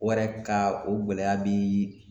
Wɛrɛ ka o gɛlɛya bi